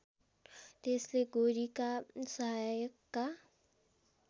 त्यसले गोरीका सहायकका